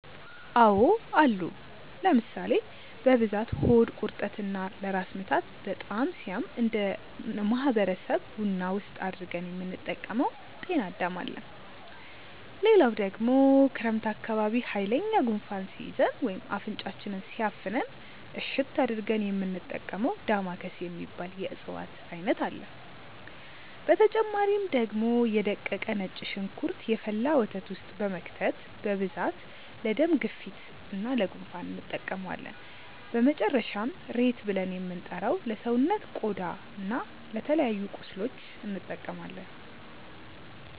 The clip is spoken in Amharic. አዎ አሉ ለምሳሌ፦ በብዛት ሆድ ቁርጠት እና ለራስ ምታት በጣም ሲያም እነደ ማህበረሰብ ቡና ውስጥ አድርገን የምንጠቀመው ጤናዳም አለ፣ ሌላው ደግሞ ክረምት አካባቢ ሃይለኛ ጉንፋን ሲይዘን ወይም አፍንጫችንን ሲያፍነን እሽት አድርገን የሚንጠቀመው ዳማከሴ የሚባል የእፅዋት አይነት አለ፣ በተጨማሪ ደግሞ የ ደቀቀ ነጭ ሽንኩርት የፈላ ወተት ውስጥ በመክተት በብዛት ለደም ግፊት እና ለ ጉንፋን እንጠቀመዋለን፣ በመጨረሻም ሬት ብልን የምንጠራው ለሰውነት ቆዳ እና ለተለያዩ ቁስሎች እንጠቀማለን።